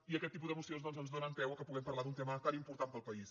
i aquest tipus de mocions doncs ens donen peu que puguem parlar d’un tema tan important per al país